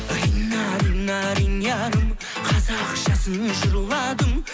рина рина ринярым қазақшасын жырладым